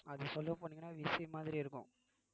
அது சொல்லப் போனீங்கன்னா விசிறி மாதிரி இருக்கும்